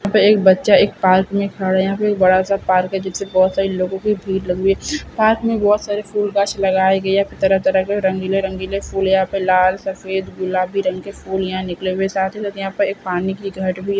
यहाँ पे एक बच्चा एक पार्क में खड़ा है यहाँ पे एक बड़ा सा पार्क है जिसपे बहुत सारे लोगों की भीड़ लगी हुई है पार्क में बहुत सारे फूल वृक्ष लगाई गई है तरह-तरह के रंगीले-रंगीले फूल यहाँ पे लाल सफेद गुलाबी रंग के फूल यहाँ निकले हुए हैं साथ ही साथ यहाँ पे एक पानी की घट भी --